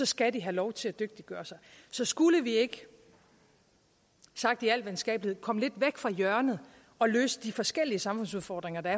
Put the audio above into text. skal de have lov til at dygtiggøre sig så skulle vi ikke sagt i al venskabelighed komme lidt væk fra hjørnet og løse de forskellige samfundsudfordringer der